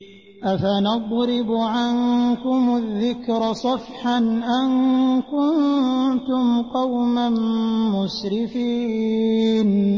أَفَنَضْرِبُ عَنكُمُ الذِّكْرَ صَفْحًا أَن كُنتُمْ قَوْمًا مُّسْرِفِينَ